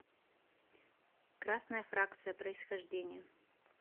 красная фракция происхождение